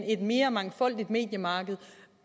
et mere mangfoldigt mediemarked